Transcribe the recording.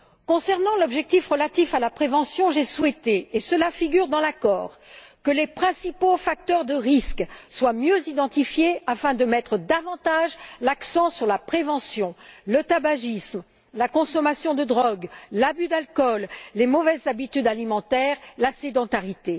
Concernant l'objectif relatif à la prévention, j'ai souhaité et cela figure dans l'accord que les principaux facteurs de risque soient mieux identifiés afin de mettre davantage l'accent sur la prévention le tabagisme, la consommation de drogues, l'abus d'alcool, les mauvaises habitudes alimentaires et la sédentarité.